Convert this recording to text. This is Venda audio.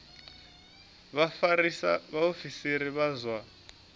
vha vhafarisa vhaofisiri vha zwa